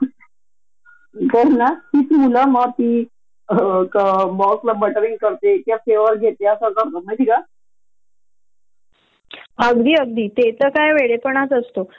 आणि प्रोजेक्ट मध्ये सुद्धा काही क्रिएटिव इनपुट दिला कोडिंग मध्ये चेंजेस सजेस्ट केले तेव्हढया पुरता तो म्हणतात बग रिमूव करायला हेल्प केली हो म्हणतात आणि शेवटी फायनल रिप्रेझेंटेशन जेव्हा लागत सगळ्यांसमोर